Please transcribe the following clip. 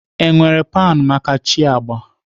Enwere pan maka chi agba?